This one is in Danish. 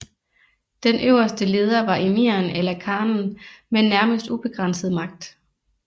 Den øverste leder var emiren eller khanen med nærmest ubegrænset magt